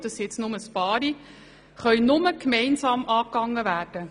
All diese Herausforderungen können nur gemeinsam angegangen werden.